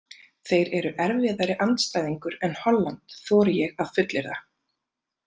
Þeir eru erfiðari andstæðingur en Holland þori ég að fullyrða.